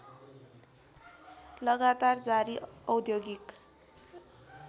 लगातार जारी औद्योगिक